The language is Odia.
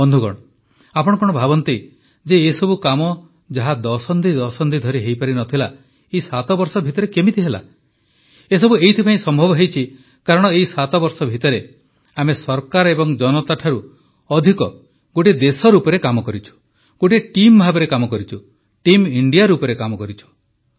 ବନ୍ଧୁଗଣ ଆପଣ କଣ ଭାବନ୍ତି ଯେ ଏ ସବୁ କାମ ଯାହା ଦଶନ୍ଧି ଦଶନ୍ଧି ଧରି ହୋଇପାରିନଥିଲା ଏହି 7 ବର୍ଷ ଭିତରେ କେମିତି ହେଲା ଏସବୁ ଏଇଥିପାଇଁ ସମ୍ଭବ ହୋଇଛି କାରଣ ଏହି 7 ବର୍ଷ ଭିତରେ ଆମେ ସରକାର ଏବଂ ଜନତା ଠାରୁ ଅଧିକ ଗୋଟିଏ ଦେଶ ରୂପରେ କାମ କରିଛୁ ଗୋଟିଏ ଟିମ୍ ଭାବେ କାମ କରିଛୁ ଟିମ୍ ଇଣ୍ଡିଆ ରୂପରେ କାମ କରିଛୁ